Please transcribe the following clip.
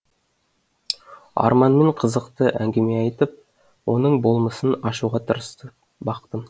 арманмен қызықты әңгіме айтып оның болмысын ашуға тырысып бақтым